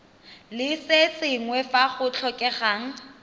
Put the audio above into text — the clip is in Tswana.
le sengwe fa go tlhokegang